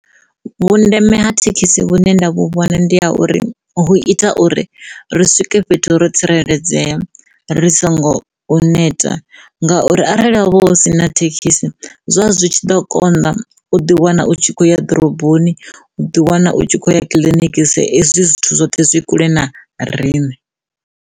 Vhundeme ha thekhisi vhune nda vhu vhona ndi ha uri hu ita uri ri swike fhethu ro tsireledzea ri songo u neta ngauri arali ho vha hu si na thekhisi zwa zwi tshi ḓo kona u ḓi wana u tshi kho ya ḓoroboni u ḓi wana u tshi khou ya kiḽiniki sa ezwi zwithu zwoṱhe zwi i kule na riṋe.